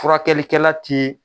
Furakɛlikɛla ti